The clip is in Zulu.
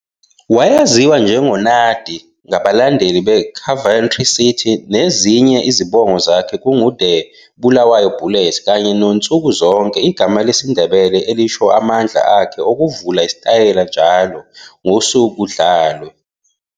Wayaziwa njengo-'Nuddy 'ngabalandeli beCoventry City n"ezinye izibongo zakhe kungu-'The" Bulawayo Bullet' kanye no'Nsukuzonke 'igama lesiNdebele elisho amandla akhe okuvula isitayela njalo, ngosuku kudlalwe.